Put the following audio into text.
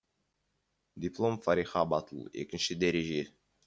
диплом фариха батул екінші дәреже